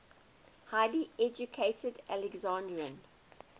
highly educated alexandrian